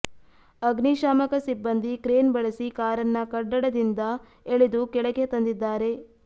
ಅಗ್ನಿಶಾಮಕ ಸಿಬ್ಬಂದಿ ಕ್ರೇನ್ ಬಳಸಿ ಕಾರನ್ನ ಕಡ್ಡಡದಿಂದ ಎಳೆದು ಕೆಳಗೆ ತಂದಿದ್ದಾರೆ